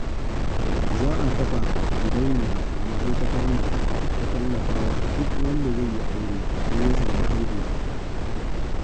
Za a kafa gidauniya a ma'aikatar nan ta tallafa wa duk wanda zai yi aure ko ya samu haihuwa